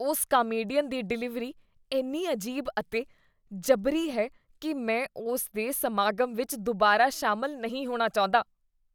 ਉਸ ਕਾਮੇਡੀਅਨ ਦੀ ਡਿਲੀਵਰੀ ਇੰਨੀ ਅਜੀਬ ਅਤੇ ਜਬਰੀ ਹੈ ਕੀ ਮੈਂ ਉਸ ਦੇ ਸਮਾਗਮ ਵਿੱਚ ਦੁਬਾਰਾ ਸ਼ਾਮਲ ਨਹੀਂ ਹੋਣਾ ਚਾਹੁੰਦਾ।